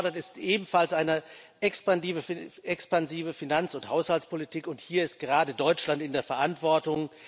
Dringend gefordert ist ebenfalls eine expansive Finanz und Haushaltspolitik, und hier ist gerade Deutschland in der Verantwortung.